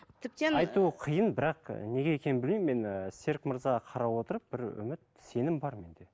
тіптен айту қиын бірақ і неге екенін білмеймін мен ііі серік мырзаға қарап отырып бір үміт сенім бар менде